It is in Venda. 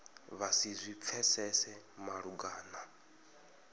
vha si zwi pfesese malugana